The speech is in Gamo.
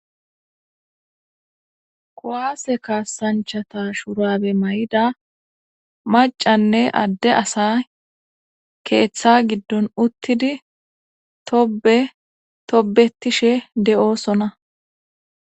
Kuwasse kasanchata shaurbe mayida macanne adde asay keetha gigon utidi tobbe tobetishe de'sonna.